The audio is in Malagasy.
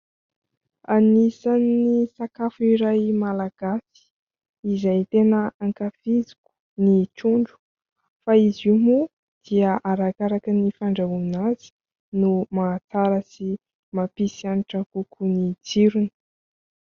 Anisan'ny sakafo iray Malagasy izay tena ankafiziko ny trondro, fa izy io moa dia arakaraka ny fandrahoana azy no mahatsara sy mampisy hanitra kokoa ny tsirony.